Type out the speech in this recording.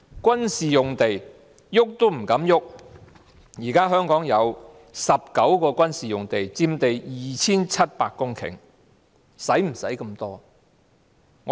軍事用地碰也不敢碰，現時香港有19幅軍事用地，佔地 2,700 公頃，需要那麼多土地嗎？